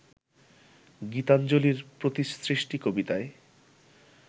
গীতাঞ্জলির ‘প্রতিসৃষ্টি’ কবিতায়